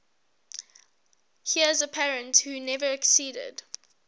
heirs apparent who never acceded